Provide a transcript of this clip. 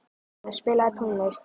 Einar, spilaðu tónlist.